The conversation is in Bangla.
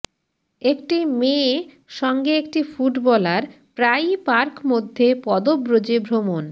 একটি মেয়ে সঙ্গে একটি ফুটবলার প্রায়ই পার্ক মধ্যে পদব্রজে ভ্রমণ